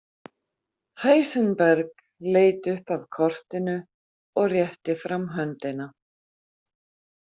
Heisenberg leit upp af kortinu og rétti fram höndina.